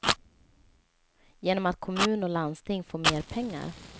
Genom att kommun och landsting får mer pengar.